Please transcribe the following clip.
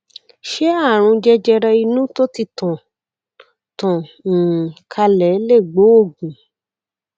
ṣé ààrùn jẹjẹrẹ inú tó ti tàn tàn um kálẹ lè gbóògùn